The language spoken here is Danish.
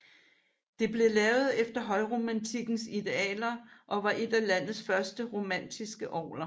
Det blev lavet efter højromantikkens idealer og var et af landets første romantiske orgler